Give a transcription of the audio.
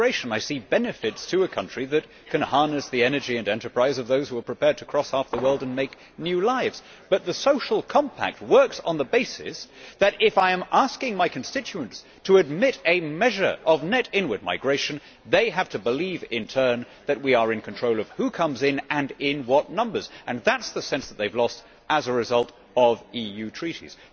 I see benefits to a country that can harness the energy and enterprise of those who are prepared to cross half the world and make new lives. But the Social Compact works on the basis that if I am asking my constituents to admit a measure of net inward migration, they have to believe, in turn, that we are in control of who comes in and in what numbers and that is the sense that they have lost as a result of EU Treaties.